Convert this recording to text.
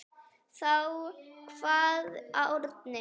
Þá kvað Árni: